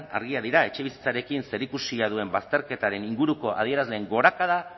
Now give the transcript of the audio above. argiak dira etxebizitzarekin zerikusia duen bazterketaren inguruko adierazleen gorakada